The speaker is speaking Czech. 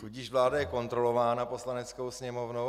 Tudíž vláda je kontrolována Poslaneckou sněmovnou.